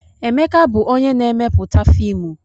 Emeka bụ onye na-emepụta fiimu.